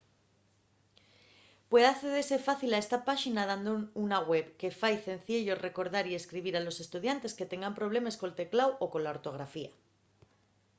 puede accedese fácil a esta páxina dando una web que fai cenciello recordar y escribir a los estudiantes que tengan problemes col tecláu o cola ortografía